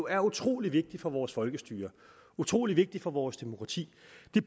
er utrolig vigtigt for vores folkestyre utrolig vigtigt for vores demokrati